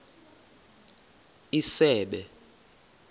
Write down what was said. isebe